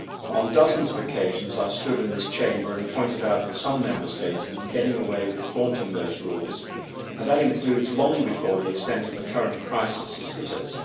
On dozens of occasions I have stood in this chamber and pointed out that some Member States have been getting away with flouting those rules, and that includes long before the extent of the current crisis hit us.